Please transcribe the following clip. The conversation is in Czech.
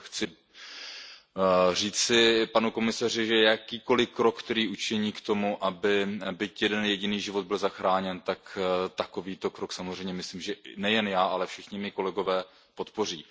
Chci říci panu komisaři, že jakýkoliv krok, který učiní k tomu, aby byť jeden jediný život byl zachráněn, tak takovýto krok samozřejmě myslím, že nejen já, ale všichni mí kolegové podpoří.